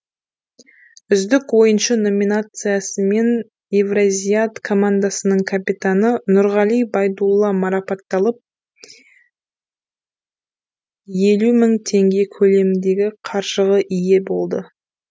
үздік ойыншы номинациясымен евразиат командасының капитаны нұрғали байдулла марапатталып елу мың теңге көлеміндегі қаржығы ие болды